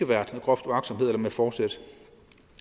været grov uagtsomhed eller med forsæt